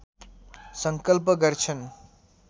सङ्कल्प गर्छन्